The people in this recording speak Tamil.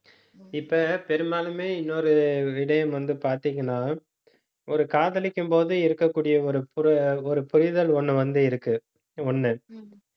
இப்ப பெரும்பாலுமே இன்னொரு விடயம் வந்து பார்த்தீங்கன்னா ஒரு காதலிக்கும் போது இருக்கக்கூடிய ஒரு புர~ ஒரு புரிதல் ஒண்ணு வந்து இருக்கு ஒண்ணு